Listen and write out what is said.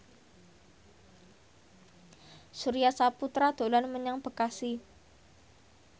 Surya Saputra dolan menyang Bekasi